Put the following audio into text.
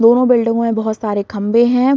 दोनों बिल्डिंगो में बहुत सारे खंबे है।